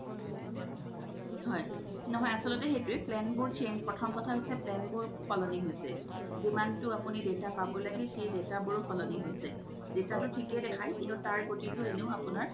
হয় নহয় আচ্ল্তে সেইতোয়ে plan বোৰ change প্ৰথম কথা হৈছে plan বোৰ সল্নি হৈছে জিমান তো আপুনি data পাব লাগে সেই data বোৰও সল্নি হৈছে data তো থিকে দেখাই কিন্তু এনেও আপুনাৰ